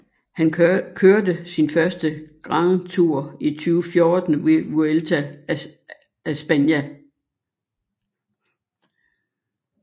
Han kørte sin første Grand Tour i 2014 ved Vuelta a España